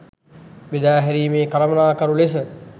බෙදාහැරීමේ කළමනාකරු ලෙස